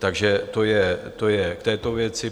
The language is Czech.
Takže to je k této věci.